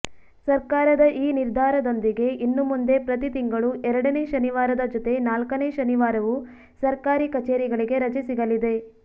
ಸರ್ಕಾರದ ಈ ನಿರ್ಧಾರದೊಂದಿಗೆ ಇನ್ನುಮುಂದೆ ಪ್ರತಿ ತಿಂಗಳು ಎರಡನೇ ಶನಿವಾರದ ಜೊತೆ ನಾಲ್ಕನೇ ಶನಿವಾರವೂ ಸರ್ಕಾರಿ ಕಚೇರಿಗಳಿಗೆ ರಜೆ ಸಿಗಲಿದೆ